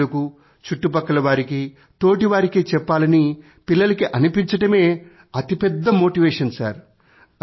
తల్లిదండ్రులకూ చుట్టుపక్కలవారికీ తోటివారి కి చెప్పాలని పిల్లలకి అనిపించడమే అతి పెద్ద మోటివేషన్